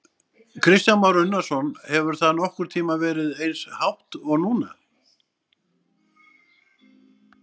Kristján Már Unnarsson: Hefur það nokkurn tímann verið eins hátt og núna?